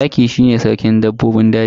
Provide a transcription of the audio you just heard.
Zaki shi ne sarkin dabbobin daji.